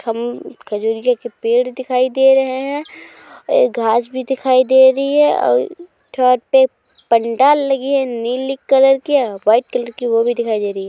ख़म खजुरी का के पेड़ दिखाई दे रहे हैं। ए ये घास भी दिखाई दे रही है और थोड़ा टेप पंडाल लगी नीली कलर की और वाइट कलर की वो भी दिखाई दे रही है।